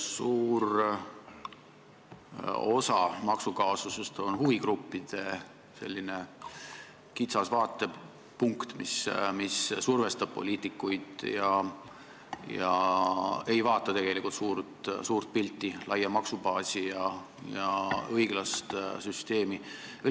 Suur osa maksukaasusest on huvigruppide kitsas vaatepunkt, mis survestab poliitikuid ega vaata tegelikult suurt pilti, laia maksubaasi ja õiglast süsteemi.